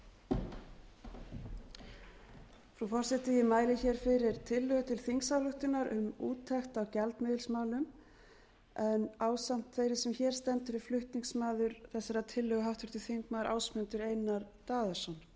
a forseti ég mæli hér fyrir tillögu til þingsályktunar um úttekt á gjaldmiðilsmálum en ásamt þeirri sem hér stendur er flutningsmaður háttvirtur þingmaður ásmundur einar daðason